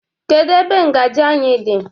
Kedu ebe ngaji anyị dị?